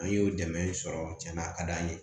An y'o dɛmɛ sɔrɔ cɛn na a ka d'an ye